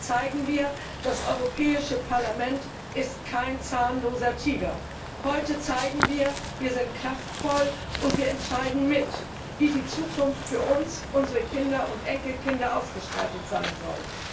Heute zeigen wir Das Europäische Parlament ist kein zahnloser Tiger. Heute zeigen wir Wir sind kraftvoll, und wir entscheiden mit, wie die Zukunft für uns, unsere Kinder und Enkelkinder ausgestattet sein soll.